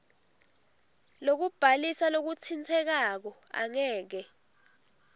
lokubhalisa lokutsintsekako angeke